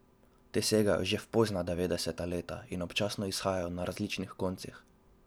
Te segajo že v pozna devetdeseta leta in občasno izhajajo na različnih koncih.